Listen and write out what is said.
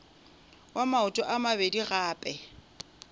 wa maoto a mabedi gape